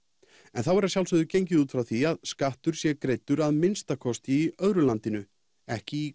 en þá er er að sjálfsögðu gengið út frá því að skattur sé greiddur að minnsta kosti í öðru landinu ekki í